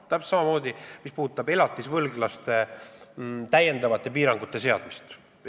Täpselt samamoodi on elatisvõlglastele täiendavate piirangute seadmisega.